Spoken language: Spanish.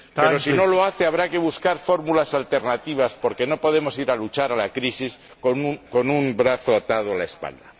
Pero si no lo hace, habrá que buscar fórmulas alternativas, porque no podemos ir a luchar contra la crisis con un brazo atado a la espalda.